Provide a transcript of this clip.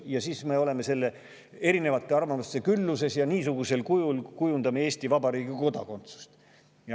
Ja siis me oleme erinevate arvamuste külluses ja kujundame niisugusel kujul Eesti Vabariigi kodakondsuse.